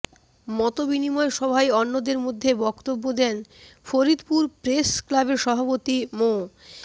মতবিনিময় সভায় অন্যদের মধ্যে বক্তব্য দেন ফরিদপুর প্রেস ক্লাবের সভাপতি মো